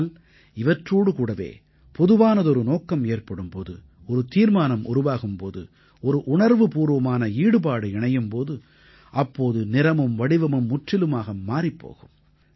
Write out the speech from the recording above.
ஆனால் இவற்றோடு கூடவே பொதுவானதொரு நோக்கம் ஏற்படும் போது ஒரு தீர்மானம் உருவாகும் போது ஒரு உணர்வுபூர்வமான ஈடுபாடு இணையும் போது அப்போது நிறமும் வடிவமும் முற்றிலுமாக மாறிப் போகும்